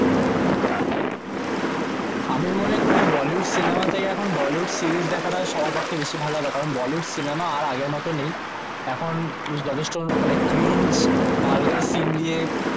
আমি মনে করি বলিউড সিনেমা থেকে এখন বলিউড সিরিজ দেখা টা সবার পক্ষে বেশি ভালো হবে কারণ বলিউড সিনেমা আর আগের মতো নেই এখন যথেষ্ট cringe ভুলগার সিন দিয়ে